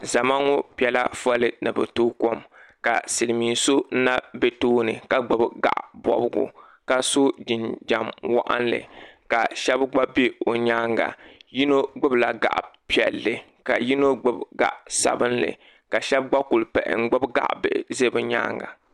Zama ŋo piɛla foolii ni bɛ toogi kɔm ka Silimiin so na be tooni ka gbibi gaɣa bɔbigu ka so jinjiɛm waɣinli ka shɛbi gba be o nyaanga yino gbibi la gaɣa piɛlli ka yino gbibi zaɣa sabinli ka shɛbi gba kuli pahi n gbibi gaɣa bihi n za bɛ nyaanga.